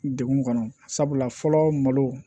Degun kɔnɔ sabula fɔlɔ malo